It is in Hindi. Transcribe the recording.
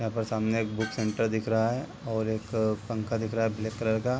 यहाँ पर सामने एक बुक सेंटर दिख रहा है और एक पंखा दिख रहा है ब्लैक कलर का।